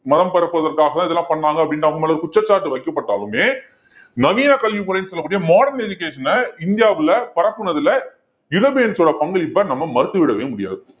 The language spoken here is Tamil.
மதம் பரப்புவதற்காக இதெல்லாம் பண்ணாங்க அப்படின்னு அவங்க மேல குற்றச்சாட்டு வைக்கப்பட்டாலுமே நவீன கல்வி முறைன்னு சொல்லக்கூடிய modern education அ இந்தியாவுல பரப்புனதுல யுரோப்பியன்ஸோட பங்களிப்பை நம்ம மறுத்து விடவே முடியாது